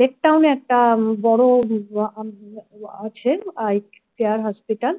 lake টাউনে একটা বড আছে eye care hospital